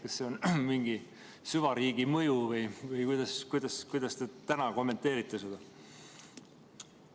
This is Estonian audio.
Kas see on mingi süvariigi mõju või kuidas te kommenteerite seda?